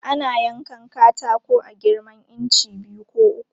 Ana yankan katako a girman inci biyu ko uku.